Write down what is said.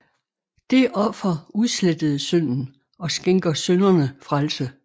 Det offer udslettede synden og skænker synderne frelse